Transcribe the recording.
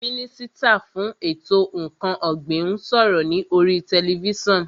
Mínísítà fún ètò ǹkan ọ̀gbìn ń sọ̀rọ̀ ní oríi tẹlifísàn